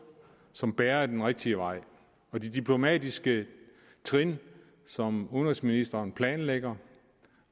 som bærer den rigtige vej og de diplomatiske trin som udenrigsministeren planlægger